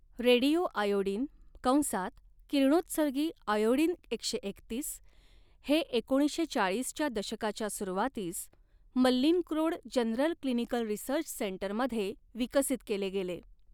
Radioiodine कंसात किरणोत्सर्गी iodine एकशे एकतीस हे एकोणीसशे चाळीसच्या दशकाच्या सुरुवातीस मल्लिन्क्रोड जनरल क्लिनिकल रिसर्च सेंटरमध्ये विकसित केले गेले.